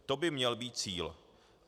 To by měl být cíl.